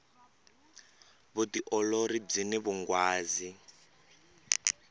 vutiolori byini vunghwazi